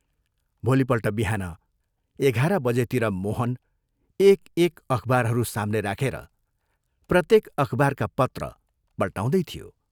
भोलिपल्ट बिहान एघार बजेतिर मोहन एक एक अखबारहरू साम्ने राखेर प्रत्येक अखबारका पत्र पल्टाउँदै थियो।